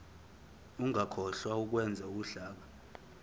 ungakhohlwa ukwenza uhlaka